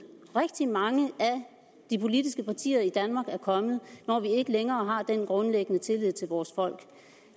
rigtig mange af de politiske partier i danmark er kommet når vi ikke længere har den grundlæggende tillid til vores folk